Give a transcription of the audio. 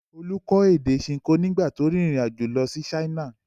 Olú kọ́ èdè Ṣinkó nígbà tí ó rìnrìn-àjò lọ sí China.